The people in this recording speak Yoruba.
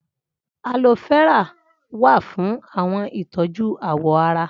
Aloe vera wa fún àwọn ìtọ́jú àwọ̀ ará